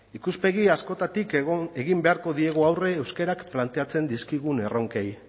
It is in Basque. ikuspegi askotatik egin beharko diegu aurre euskarak planteatzen dizkigun erronkei